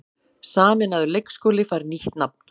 Sameinaður leikskóli fær nýtt nafn